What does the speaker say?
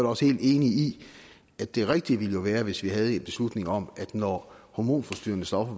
også helt enig i at det rigtige ville være hvis vi havde en beslutning om at når hormonforstyrrende stoffer